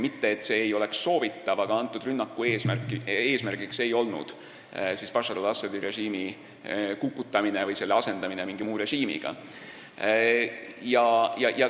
Mitte, et see ei oleks soovitav, aga konkreetse rünnaku eesmärk ei olnud Bashar al-Assadi režiimi kukutamine või selle asendamine mingi muu režiimiga.